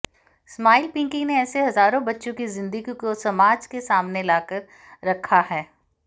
smile Pinky ने ऐसे हजारों बच्चों की जिंदगी को समाज के सामने लाकर रखा है